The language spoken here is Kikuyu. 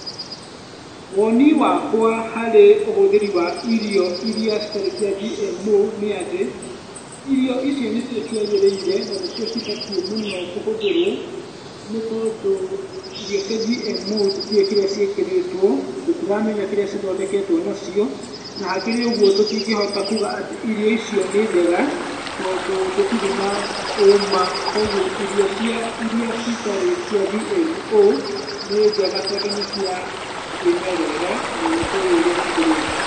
Woni wakwa harĩ ũhũthĩri wa irio irĩa citarĩ cia GMO nĩ atĩ, irio icio nĩcio ciagĩrĩire na nĩcio cibatiĩ mũno kũhũthĩrwo, nĩ tondũ irio cia GMO tũtiũwĩ kĩrĩa ciĩkĩrĩtwo, tũtiramenya kĩrĩa cithondeketwo nakĩo, na hakĩrĩ ũguo tũtingĩhota kuga atĩ irio icio nĩ njega, tondũ tũtirĩ na ũma, koguo irio irĩa citarĩ cia GMO ni njega, tondũ nĩ cia kĩmerera na nĩtũwĩ ũrĩa cikũrĩtio.